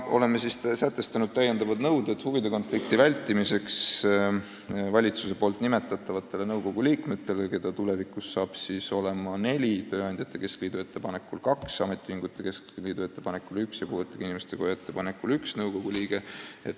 Oleme sätestanud täiendavad nõuded huvide konflikti vältimiseks valitsuse nimetatavate nõukogu liikmete jaoks, keda tulevikus on neli: tööandjate keskliidu ettepanekul kaks liiget, ametiühingute keskliidu ettepanekul üks ja puuetega inimeste koja ettepanekul üks liige.